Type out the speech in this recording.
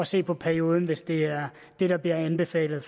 se på perioden hvis det er det der bliver anbefalet